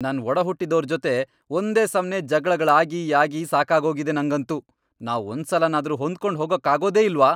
ನನ್ ಒಡಹುಟ್ಟಿದೋರ್ ಜೊತೆ ಒಂದೇ ಸಮ್ನೇ ಜಗ್ಳಗಳಾಗಿ ಆಗಿ ಸಾಕಾಗೋಗಿದೆ ನಂಗಂತೂ. ನಾವ್ ಒಂದ್ಸಲನಾದ್ರೂ ಹೊಂದ್ಕೊಂಡ್ ಹೋಗೋಕ್ಕಾಗೋದೇ ಇಲ್ವಾ?!